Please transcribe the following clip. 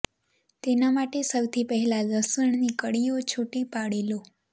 તેના માટે સૌથી પહેલા લસણની કળીઓ છૂટી પાડી લો